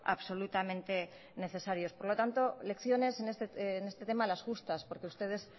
absolutamente necesarios por lo tanto lecciones en este tema las justas porque ustedes